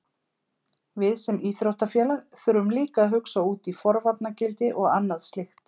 Við sem íþróttafélag þurfum líka að hugsa út í forvarnargildi og annað slíkt.